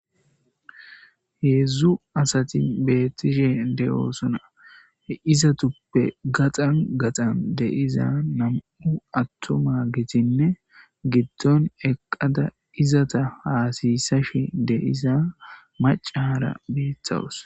Hedzdzu asati bettishshe dees he izzetuppe gaxan gaxan deiza nam 'u atumagetine giddon eqqada izata hasiysashshe deiza macca bettawuss